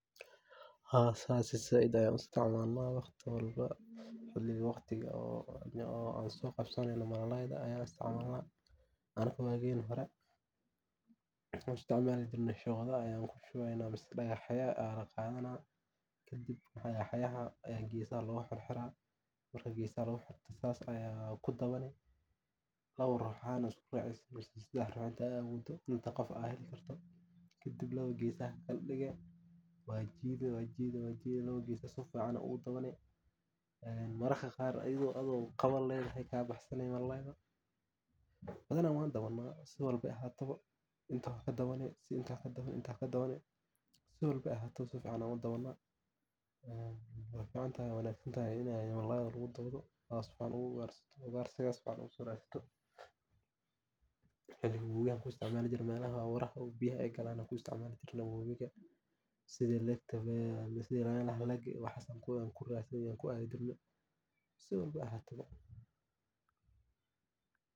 Haa sas zaid ayan u isticmalna wax walbo, waqtigaa an so qabsaneno malalayda aya isticmalna .Waqtigi hore waxan sumeyn jirne shodaa aa ama dagah yaa laqadanaa, kadib dagahyaha geesaha aa loga xirxira oo laba rux ahan aa isku racesin ,kadib gesaha qabanesa waa jidee jidee ,mararka qaar adho qaba ledahay ay kabax sani malalayga ,badana waa dabana sii walbo ay ahato ,inta kadabani inta kadabani ,si walbo ay ahato si fican ayan u dabana oo malalayga lagu dawdo sas an ugarsiga u sumena, wabiga markey biyo galan sidaa aan kuadii jirne sidas camal.